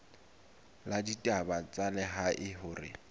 la ditaba tsa lehae hore